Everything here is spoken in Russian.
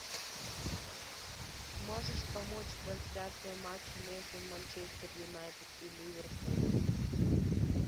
можешь помочь трансляцию матча между манчестер юнайтед и ливерпуль